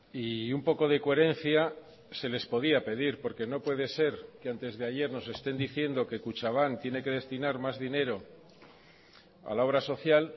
y un poco de coherencia se les podía pedir porque no puede ser que antes de ayer nos estén diciendo que kutxabank tiene que destinar más dinero a la obra social